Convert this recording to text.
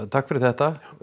takk fyrir þetta